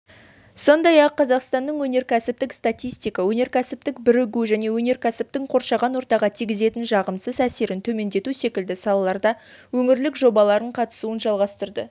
сондай-ақ қазақстанның өнеркәсіптік статистика өнеркәсіптік бірігу және өнеркәсіптің қоршаған ортаға тигізетін жағымсыз әсерін төмендету секілді салаларда өңірлік жобаларына қатысуын жалғастыру